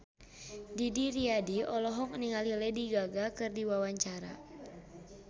Didi Riyadi olohok ningali Lady Gaga keur diwawancara